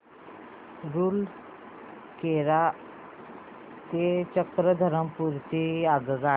रूरकेला ते चक्रधरपुर ची आगगाडी